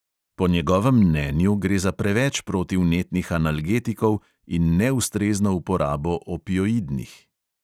Po njegovem mnenju gre za preveč protivnetnih analgetikov in neustrezno uporabo opioidnih.